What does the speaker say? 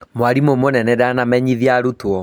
Mwarimũ mũnene danamenyithia arutwo